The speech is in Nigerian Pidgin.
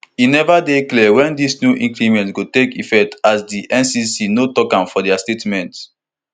e neva dey clear wen dis new increment go take effect as di ncc no tok am for dia statement